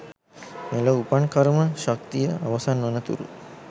මෙලොව උපන් කර්ම ශක්තිය අවසන් වන තුරු